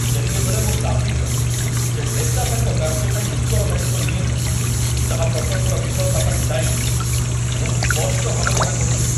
ଯେତେବେଳେ ମୁଁ ଦାବି କଲି ଯେ ନେତା ତାଙ୍କ କାର୍ଯ୍ୟ ପାଇଁ ଉତ୍ତରଦାୟିତ୍ୱ ନିଅନ୍ତୁ, ଯାହା ପ୍ରକଳ୍ପର ବିଫଳତା ପାଇଁ ଦାୟୀ, ମୁଁ ସ୍ପଷ୍ଟ ଭାବରେ ଏହା କହିଥିଲି